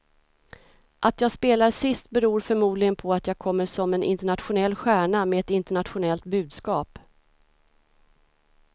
Att jag spelar sist beror förmodligen på att jag kommer som en internationell stjärna med ett internationellt budskap.